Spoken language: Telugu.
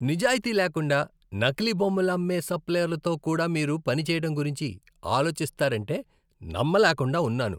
నిజాయితీ లేకుండా, నకిలీ బొమ్మలు అమ్మే సప్లయర్లతో కూడా మీరు పని చేయటం గురించి ఆలోచిస్తారంటే నమ్మలేకుండా ఉన్నాను.